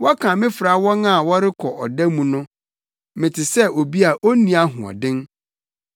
Wɔkan me fra wɔn a wɔrekɔ ɔda mu no; mete sɛ obi a onni ahoɔden.